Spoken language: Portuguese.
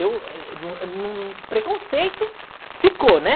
O preconceito ficou, né?